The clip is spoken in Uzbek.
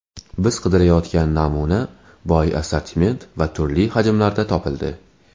Biz qidirayotgan namuna boy assortiment va turli hajmlarda topildi.